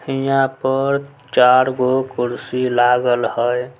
हीया पर चार गो कुर्सी लागल हेय।